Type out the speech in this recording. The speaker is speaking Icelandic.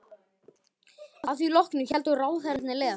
Að því loknu héldu ráðherrarnir leiðar sinnar.